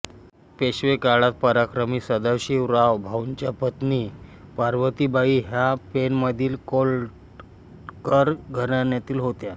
पेशवेकाळात पराक्रमी सदाशिवराव भाऊंच्या पत्नी पार्वतीबाई ह्या पेणमधील कोल्हटकर घराण्यातील होत्या